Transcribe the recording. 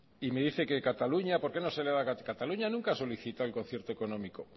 y me dice que cataluña por qué no se le da a cataluña cataluña nunca a solicitado el concierto económico